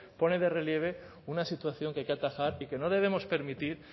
pone de relieve una situación que hay que atajar y que no debemos permitir